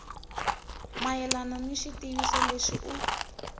mayelana ni xitiviso lexi u